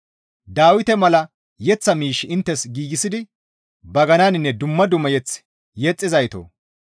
Dawite mala yeththa miish inttes giigsidi bagananinne dumma dumma mazamure yexxizaytoo!